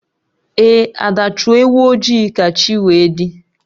Ee, Ada Chụọ ewu ojii ka chi wee dị